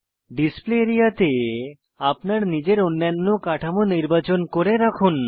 display area তে আপনার নিজের অন্যান্য কাঠামো নির্বাচন করে রাখুন